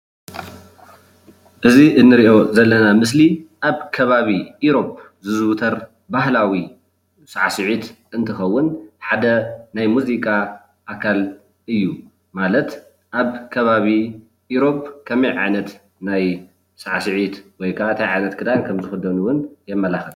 እዚ እንሪኦ ዘለና ምስሊ ኣብ ከባቢ ኢሮፕ ዝዝውተር ባህላዊ ሳዕሲዒት እንትከውን ሓደ ናይ ሙዚቃ ኣካል እዩ፡፡ ማለት ኣብ ከባቢ ኢሮፕ ከመይ ዓይነት ናይ ሳዕሲዒት ወይ ከዓ እንታይ ዓይነት ክዳን ከምዝክደኑ እውን የመላክት፡፡